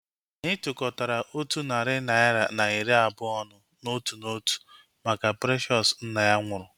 Anyị tukọtara otu narị naira na iri abụọ ọnụ n'otu n'otu maka Precious nna ya nwụrụ